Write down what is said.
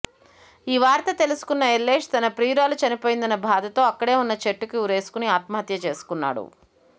ఈ వార్త తెలుసుకున్న ఎల్లేష్ తన ప్రియురాలు చనిపోయిందన్న బాధతో అక్కడే ఉన్న చెట్టుకి ఉరేసుకొని ఆత్మహత్య చేసుకున్నాడు